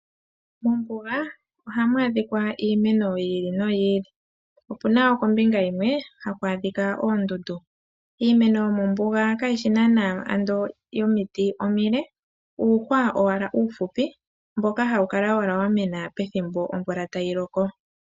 Mombuga ohamu adhika iimeno yiili no yiili, opuna kombinga yimwe ohaku adhika oondundu. Iimeno yomombuga kayishi nana omiti omile, uuhwa ashike uufupi mboka hawu kala wala wamena pethimbo omvula tayi loko.